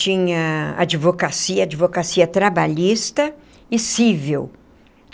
Tinha advocacia, advocacia trabalhista e cível.